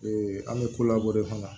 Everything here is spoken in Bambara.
an bɛ ko labɔ de fana